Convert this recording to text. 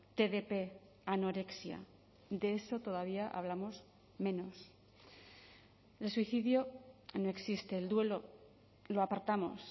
tdp anorexia de eso todavía hablamos menos el suicidio no existe el duelo lo apartamos